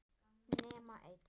Nema einn.